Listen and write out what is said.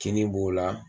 Kini b'o la